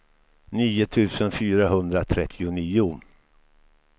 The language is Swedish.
nio tusen fyrahundratrettionio